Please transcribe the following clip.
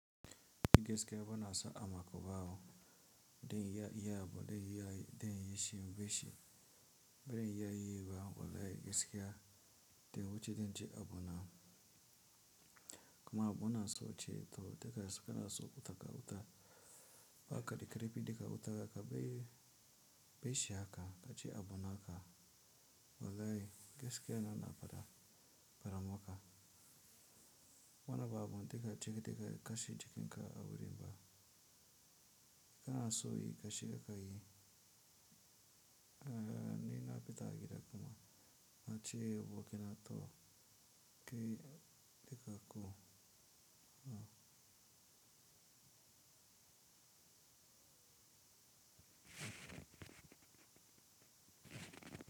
Gaskiya ba na so a mako bawo, den ya iya bo den yai den yi shi be shi. Be den ya yi bawo, wallahi giske ya den wuce den je a bona. Kuma a bona so ce to daga suka na so wuta ka wuta ba ka da karfi daga wuta ka, bai be shi haka ka je a bona haka. Wallahi giskiya ina faɗa maka. Wannan ba daga cikin daga kashi cikin ka a wurin ba. Ka na so yi kashi ka ka yi. Eh, ni na fita a gida kuma na ce wa ke na to, ki tika ko.